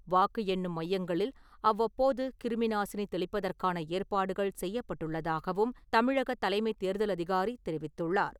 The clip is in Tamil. வாக்கு எண்ணும் மையங்களில் அவ்வப்போது, கிருமி நாசினி தெளிப்பதற்கான ஏற்பாடுகள் செய்யப்பட்டுள்ளதாகவும் தமிழக தலைமைத் தேர்தல் அதிகாரி தெரிவித்துள்ளார்.